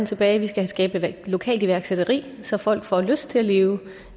tilbage vi skal skabe lokalt iværksætteri så folk får lyst til at leve